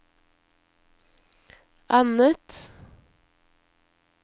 annet